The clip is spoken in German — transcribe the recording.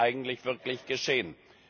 Was wird eigentlich wirklich geschehen?